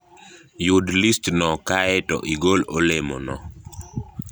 Yud listno kae to igol olemono